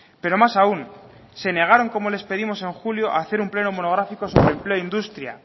pero más aún se negaron como les pedimos en julio a hacer un pleno monográfico sobre empleo e industria